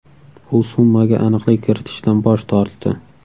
U summaga aniqlik kiritishdan bosh tortdi.